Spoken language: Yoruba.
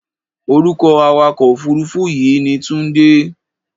Orúkọ awakọ̀-òfuurufú yìí ni Tunde.